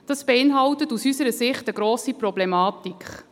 Dies beinhaltet aus unserer Sicht eine grosse Problematik.